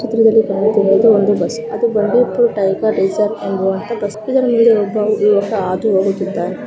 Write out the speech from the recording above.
ಚಿತ್ರದಲ್ಲಿ ಕಾಣುತ್ತಿರುವುದು ಒಂದು ಬಸ್ ಅದು ಬಂಡೀಪುರ ಟೈಗರ್ ರಿಸೆರ್ವ ಅನ್ನುವಂತಹ ಬಸ್ --